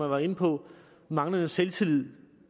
var inde på manglende selvtillid